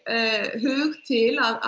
hug til að